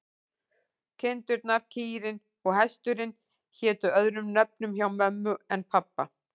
Kindurnar, kýrin og hesturinn hétu öðrum nöfnum hjá mömmu en pabba.